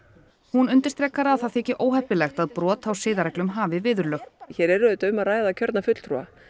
hún undirstrikar að það þyki óheppilegt að brot á siðareglum hafi viðurlög hér er um að ræða kjörna fulltrúa